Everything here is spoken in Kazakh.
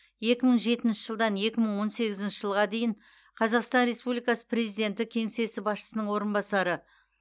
екі мың жетінші жылдан екі мың он сегізінші жылға дейін қазақстан республикасы президенті кеңсесі басшысының орынбасары